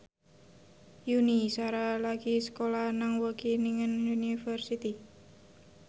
Yuni Shara lagi sekolah nang Wageningen University